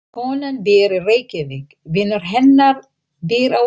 Konan býr í Reykjavík. Vinur hennar býr á Akureyri.